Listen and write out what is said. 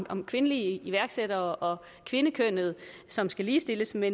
om kvindelige iværksættere og kvindekønnet som skal ligestilles med